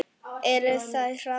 Eru þeir harðari en hann?